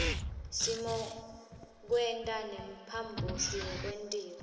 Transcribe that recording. simokwenta nemphambosi yekwentiwa